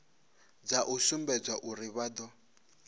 dza u sumbedza uri vha